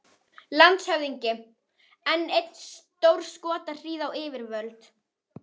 LANDSHÖFÐINGI: Enn ein stórskotahríð á yfirvöld!